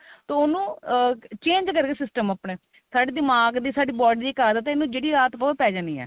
ਤਾਂ ਉਹਨੂੰ change ਕਰੇ system ਆਪਣਾ ਸਾਡੇ ਦਿਮਾਗ ਦੀ ਸਾਡੀ body ਦੀ ਇੱਕ ਆਦਤ ਇਹਨੂੰ ਜਿਹੜੀ ਆਦਤ ਪਾਓ ਉਹ ਪੈ ਜਾਣੀ ਏ